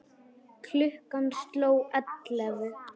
Klukkan sló ellefu.